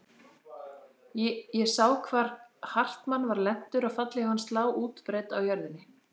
Ég sá hvar Hartmann var lentur og fallhlíf hans lá útbreidd á jörðunni.